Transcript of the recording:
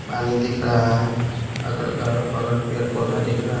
पानी दिख रहा है अगर ग बगल पेड़ पौधा दिख रा --